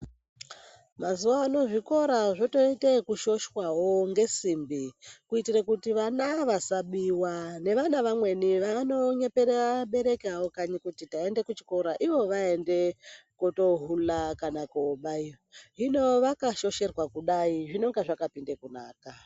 Mazuwanaya zvikora zvotoite ekushoshwawo ngesimbi kuitire kuti vana vasabiwa nevana vamweni vanonyepera vabereki avo kanyi kuti taende kuchikora Ivo vaende kotohula kana kobaiyo . Hino vakashosherwa kudai zvinonga zvakapinde kunaka.